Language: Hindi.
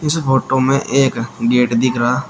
इस फोटो में एक गेट दिख रहा--